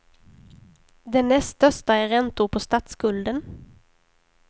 Den näst största är räntor på statsskulden.